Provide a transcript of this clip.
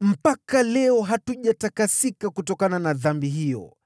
mpaka leo hii hatujatakasika kutokana na dhambi hiyo!